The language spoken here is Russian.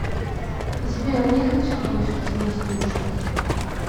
сбер не хочу больше тебя слушать